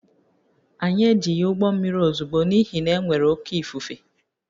Anyị ejighị ụgbọ mmiri ozugbo n’ihi na e nwere oké ifufe